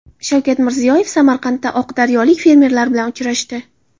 Shavkat Mirziyoyev Samarqandda oqdaryolik fermerlar bilan uchrashdi.